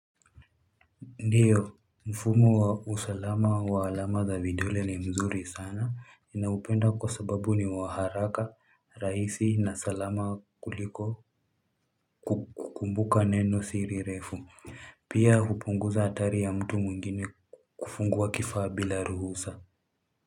Ndiyo mfumo wa usalama wa alama za vidole ni mzuri sana ninaupenda kwa sababu ni wa haraka raisi na salama kuliko kukumbuka nenosiri refu pia hupunguza hatari ya mtu mwengine kufungua kifaa bila ruhusa.